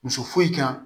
Muso kan